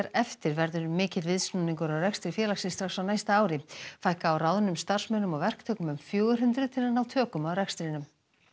eftir verður mikill viðsnúningur á rekstri félagsins strax á næsta ári fækka á ráðnum starfsmönnum og verktökum um fjögur hundruð til að ná tökum á rekstrinum